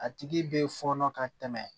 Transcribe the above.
A tigi bɛ fɔnɔ ka tɛmɛ